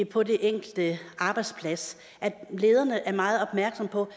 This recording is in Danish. på den enkelte arbejdsplads at lederne er meget opmærksomme på